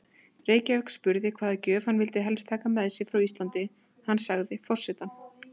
Reykjavík spurði hvaða gjöf hann vildi helst taka með sér frá Íslandi, sagði hann: Forsetann